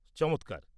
চমৎকার!